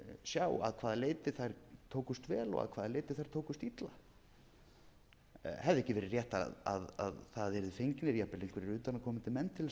sjá að hvaða leyti þær tókust vel og hvaða leyti þær tókust illa hefði ekki verið rétt að það yrðu fengnir jafnvel einhverjir utanaðkomandi menn til þess að reyna að meta þetta